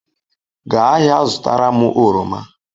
Gaa ahịa zụtara m oroma.